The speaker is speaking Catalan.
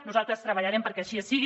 nosaltres treballarem perquè així sigui